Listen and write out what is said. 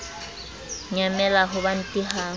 nyamela ho ba ntidi ha